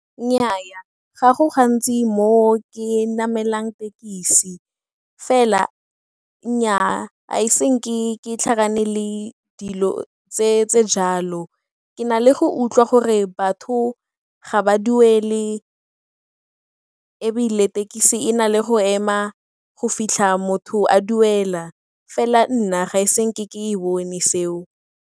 Nnyaa, ga go gantsi mo ke namelang thekisi fela nnyaa ga e iseng ke tlhakane le dilo tse ntseng jalo. Ke na le go utlwa gore batho ga ba duele ebile thekisi e na le go ema go fitlha motho a duela fela nna ga ise nke ke e bone seo.